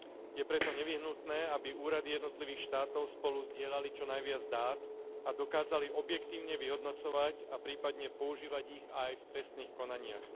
Je preto nevyhnutné, aby úrady jednotlivých štátov spolu zdieľali čo najviac dát a dokázali objektívne vyhodnocovať a prípadne používať ich aj v trestných konaniach.